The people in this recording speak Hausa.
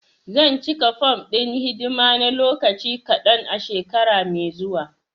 Zan cika fom ɗin hidima na lokaci kadan a shekara mai zuwa.